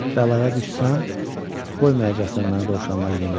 Bəlaya düşsəm, qoymayacaqsan mənə dovşanları yemləməyə.